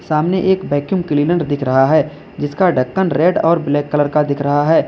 सामने एक vacuum cleaner दिख रहा है जिसका ढक्कन रेड और ब्लैक कलर का दिख रहा है।